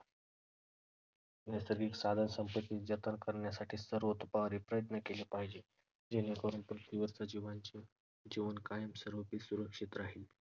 नैसर्गिक साधनसंपत्तीचे जतन करण्यासाठी सर्वतोपरी प्रयत्न केले पाहिजे. जेणेकरून पृथ्वीवर सजीवांचे जीवन कायमस्वरूपी सुरक्षित राहील.